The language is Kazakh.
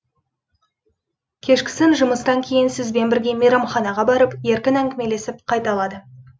кешкісін жұмыстан кейін сізбен бірге мейрамханаға барып еркін әңгімелесіп қайта алады